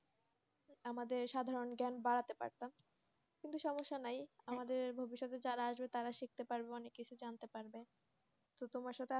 আমাদের সাধারণ জ্ঞ্যান বারাতে পারতাম। কিন্তু সমস্যা নাই আমাদের ভবিষ্যতে যারা আসবে তারা শিখতে পারবে অনেক কিছু জানতে পারবে। তো তোমার সাথে